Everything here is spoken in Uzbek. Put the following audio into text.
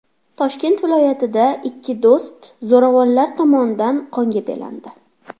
Toshkent viloyatida ikki do‘st zo‘ravonlar tomonidan qonga belandi.